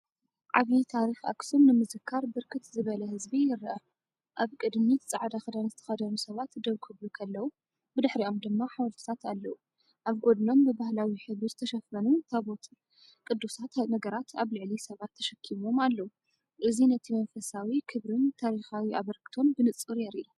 ዓብዪ ታሪኽ ኣኽሱም ንምዝካር ብርክት ዝበለ ህዝቢ ይረአ። ኣብ ቅድሚትጻዕዳ ክዳን ዝተኸድኑ ሰባት ደው ክብሉንከለዉ፡ብድሕሪኦም ድማ ሓወልትታት ኣለዉ። ኣብ ጎድኖም ብባህላዊ ሕብሪ ዝተሸፈኑን ታቦትን ቅዱሳት ነገራት ኣብ ልዕሊ ሰባት ተሸኪሞም ኣለው። እዚ ነቲ መንፈሳዊክብርን ታሪኻዊ ኣበርክቶን ብንጹር የርኢ።